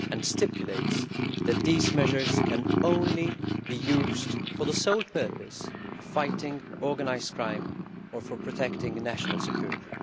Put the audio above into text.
stipulating that these measures can only be used for the purpose of fighting organised crime or for protecting national security.